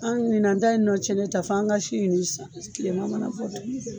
An ɲinan ta in nɔ cɛnnen tan fɔ an ka si ɲini sisan kilema mana bɔ tuguni